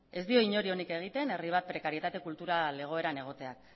ez dio inori onik egiten herri bat prekarietate kultural egoeran egotea